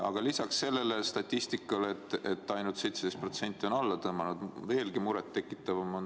Aga lisaks sellele statistikale, et ainult 17% on selle äpi alla tõmmanud, on üks asi veelgi muret tekitavam.